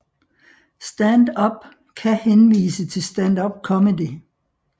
Stand Up kan henvise til standupcomedy